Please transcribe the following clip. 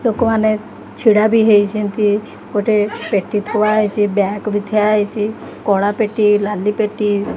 ଲୋକମାନେ ଛିଡ଼ା ବି ହେଇଛନ୍ତି ଗୋଟେ ପେଟି ଥୁଆ ହେଇଛି ବ୍ୟାଗ୍ ବି ଠିଆ ହେଇଛି କଳା ପେଟି ନାଲି ପେଟି--